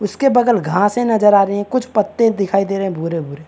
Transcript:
उसके बगल घासें नज़र आ रही है कुछ पत्ते दिखाई दे रहे हैं भूरे - भूरे --